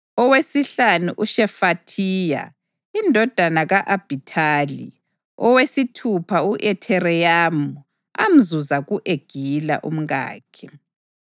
owesihlanu, uShefathiya indodana ka-Abhithali; owesithupha, u-Ithireyamu amzuza ku-Egila, umkakhe.